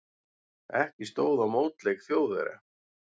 Ekki stóð á mótleik Þjóðverja.